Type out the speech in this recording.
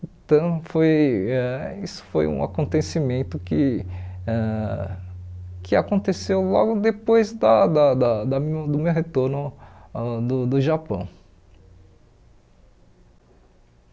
Então, foi ãh isso foi um acontecimento que ãh que aconteceu logo depois da da da da mi do meu retorno ãh do do Japão.